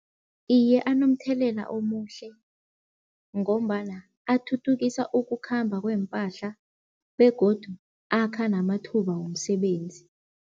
Iye anomthelela omuhle ngombana athuthukisa ukukhamba kweempahla begodu akha namathuba womsebenzi.